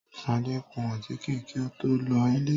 Ṣadé kún àtíké kí ó tó lọ ilé